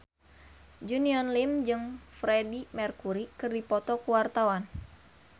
Junior Liem jeung Freedie Mercury keur dipoto ku wartawan